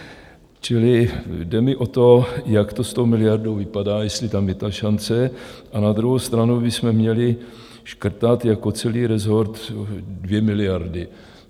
Čili jde mi o to, jak to s tou miliardou vypadá, jestli tam je ta šance, a na druhou stranu bychom měli škrtat jako celý rezort 2 miliardy.